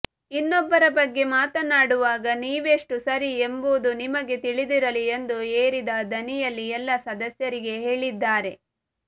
ಇನ್ನೊಬ್ಬರ ಬಗ್ಗೆ ಮಾತನಾಡುವಾಗ ನೀವೆಷ್ಟು ಸರಿ ಎಂಬುದು ನಿಮಗೆ ತಿಳಿದಿರಲಿ ಎಂದು ಏರಿದ ದನಿಯಲ್ಲಿ ಎಲ್ಲಾ ಸದಸ್ಯರಿಗೆ ಹೇಳಿದ್ದಾರೆ